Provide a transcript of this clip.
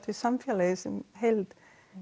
samfélagi í heild